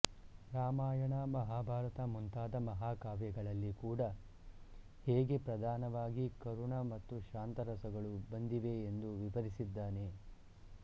ರಾಮಾಯಣ ಮಹಾಭಾರತ ಮುಂತಾದ ಮಹಾಕಾವ್ಯಗಳಲ್ಲಿ ಕೂಡ ಹೇಗೆ ಪ್ರಧಾನವಾಗಿ ಕರುಣ ಹಾಗೂ ಶಾಂತರಸಗಳು ಬಂದಿವೆಯೆಂದು ವಿವರಿಸಿದ್ದಾನೆ